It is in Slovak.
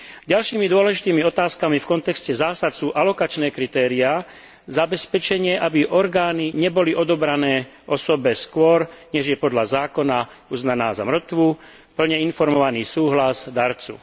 Ďalšími dôležitými otázkami v kontexte zásad sú alokačné kritériá zabezpečenie, aby orgány neboli odobrané osobe skôr, než je podľa zákona uznaná za mŕtvu, plne informovaný súhlas darcu.